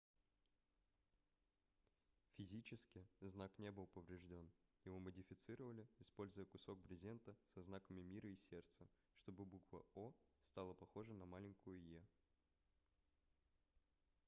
физически знак не был поврежден его модифицировали используя кусок брезента со знаками мира и сердца чтобы буква о стала похожа на маленькую е